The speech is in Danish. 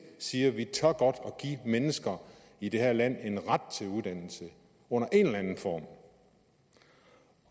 siger vi tør godt give mennesker i det her land en ret til uddannelse under en eller anden form